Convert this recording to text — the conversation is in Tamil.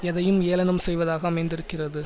எதையும் ஏளனம் செய்வதாக அமைந்திருக்கிறது